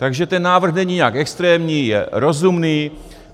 Takže ten návrh není nijak extrémní, je rozumný.